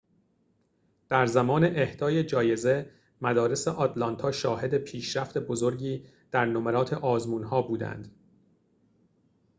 در زمان اهدای جایزه مدارس آتلانتا شاهد پیشرفت بزرگی در نمرات آزمون‌ها بودند